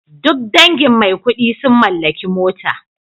Duk dangin Maikudi sun mallaki mota